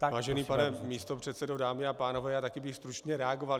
Vážený pane místopředsedo, dámy a pánové, já také bych stručně reagoval.